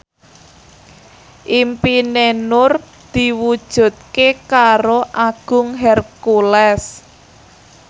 impine Nur diwujudke karo Agung Hercules